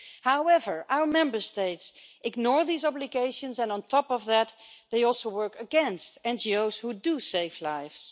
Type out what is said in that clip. However, our Member States ignore these obligations and on top of that, they also work against NGOs which do save lives.